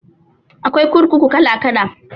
Akwai kurkuku kala kala